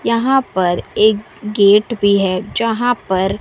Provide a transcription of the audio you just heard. यहां पर एक गेट भी है जहां पर--